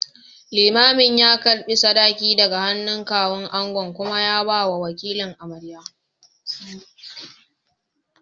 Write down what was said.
Limamin ya karɓi sadakin daga hannun Kawun angon kuma ya bawa wakilin amaryar.